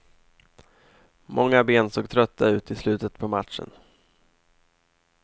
Många ben såg trötta ut i slutet på matchen.